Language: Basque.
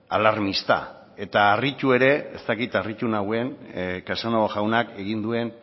alarmista eta harritu ere ez dakit harritu nauen casanova jaunak egin duen